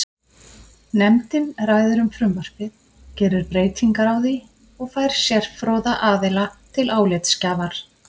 Nefndin ræðir um frumvarpið, gerir breytingar á því og fær sérfróða aðila til álitsgjafar.